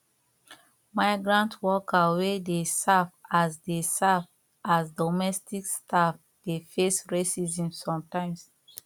migrant worker wey dey serve as dey serve as domestic staff dey face racism sometimes